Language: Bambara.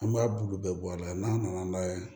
An b'a bulu bɛɛ bɔ a la n'a nana n'a ye